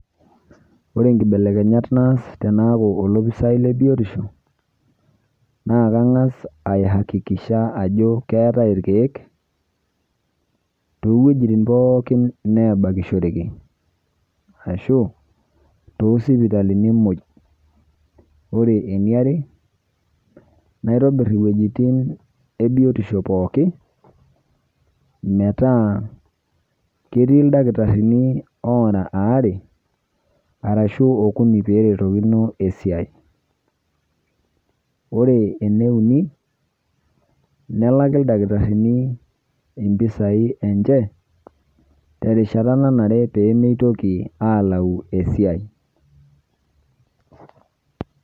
ore nkibelekenyat naas tenaaku olopisai le biotisho, naa kangas ayakikisha ajo keetae irkeek, too weujitin pookin neebakishoreki. ashu too sipitalini muj. ore eniare naitobir iwuejitin ebiotisho pookin, metaa ketii ildakitarini oora aare aashu okuni pee eretokino esiai. ore eneuni nelaki ildakitarini ipisai enye terishata nanare pee meitoki aalau esiai.